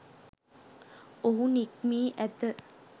ඔහු නික්මී ඇත.